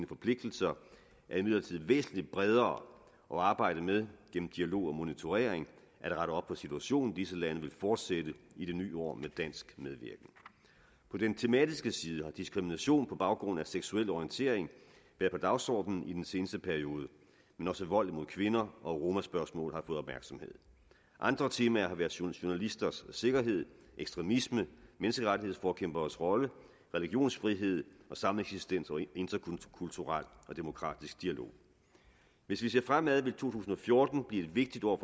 forpligtelser er imidlertid væsentlig bredere og arbejdet med gennem dialog og monitorering at rette op på situationen i disse lande vil fortsætte i det nye år med dansk medvirken på den tematiske side har diskrimination på baggrund af seksuel orientering været på dagsordenen i den seneste periode men også vold mod kvinder og romaspørgsmål har fået opmærksomhed andre temaer har været journalisters sikkerhed ekstremisme menneskerettighedsforkæmperes rolle religionsfrihed og sameksistens og interkulturel og demokratisk dialog hvis vi ser fremad vil to tusind og fjorten blive et vigtigt år